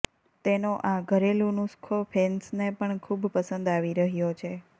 તેનો આ ઘરેલુ નુસ્ખો ફેન્સને પણ ખૂબ પસંદ આવી રહ્યો છે